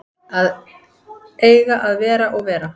Að eiga að vera og vera